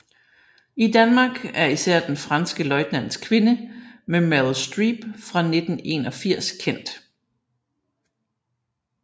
I Danmark er især Den franske løjtnants kvinde med Meryl Streep fra 1981 kendt